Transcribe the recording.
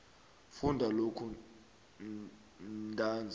funda lokhu ntanzi